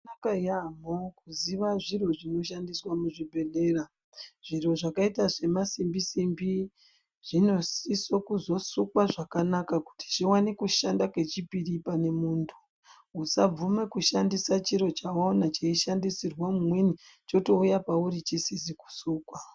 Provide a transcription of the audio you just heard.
Zvakanaka yamho kuziva zviro zvinoshandiswa muzvibhedhlera, zviro zvakaita semasimbi simbi zvinosiswa kuzosukwa zvakanaka kuti zviwande kushanda pechipiri pane muntu. Usabvume kushandisa chiro chawaone cheishandisirwa umweni chotouya pauri chisizi kusukwa.